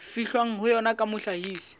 fihlwang ho yona ya mohlahisi